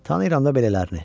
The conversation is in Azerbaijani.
Tanıyıram da belələrini.